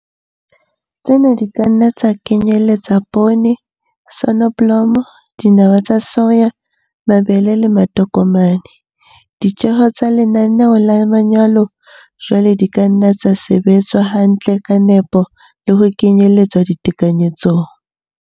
Tsena di ka nna tsa kenyeletsa poone, soneblomo, dinawa tsa soya, mabele le matokomane. Ditjeho tsa lenaneo la manyolo jwale di ka nna tsa sebetswa hantle ka nepo le ho kenyeletswa ditekanyetsong.